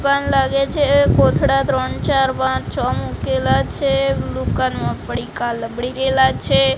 દુકાન લાગે છે કોથળા ત્રણ ચાર પાંચ છ મુકેલા છે દુકાનમાં પડીકા લબડી રેલા છે.